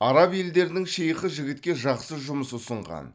араб елдерінің шейхі жігітке жақсы жұмыс ұсынған